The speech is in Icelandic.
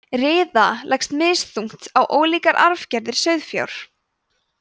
riða leggst misþungt á ólíkar arfgerðir sauðfjár